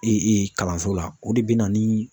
kalanso la o de bɛ na ni